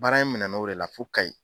Baara in minɛnna o de la fo Kayi.